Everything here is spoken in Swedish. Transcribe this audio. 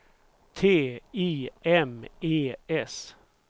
T I M E S